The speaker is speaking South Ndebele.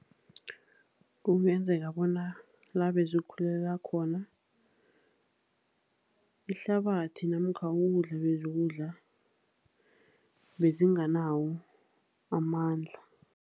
Kungenzeka bona la bezikhulela khona, ihlabathi namkha ukudla bezikudla bezinganawo amandla.